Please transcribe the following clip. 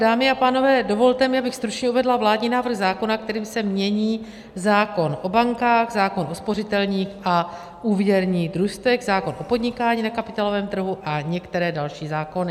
Dámy a pánové, dovolte mi, abych stručně uvedla vládní návrh zákona, kterým se mění zákon o bankách, zákon o spořitelních a úvěrních družstvech, zákon o podnikání na kapitálovém trhu a některé další zákony.